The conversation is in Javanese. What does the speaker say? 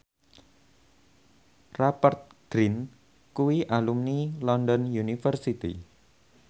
Rupert Grin kuwi alumni London University